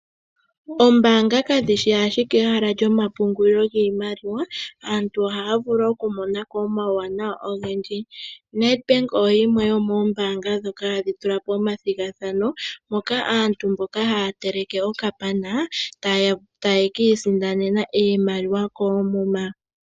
Oombaanga ka dhi shi ashike ehala lyomapungulilo giimaliwa, aantu oha ya vulu oku monako omauwanawa ogendji. Nedbank oyo yimwe yomoombaanga dhoka ha dhi tula po omathigathano, moka aantu mboka ha ya teleke okapana taya ka isindanena iimaliwa koomuma.